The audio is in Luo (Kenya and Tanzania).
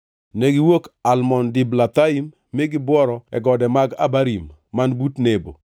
Negiwuok Almon Diblathaim mi gibworo e gode mag Abarim, man but Nebo.